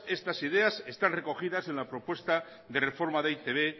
estas ideas están recogidas en la propuesta de reforma de e i te be